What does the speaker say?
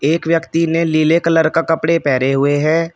एक व्यक्ति ने लीले कलर का कपड़े पहने हुए है।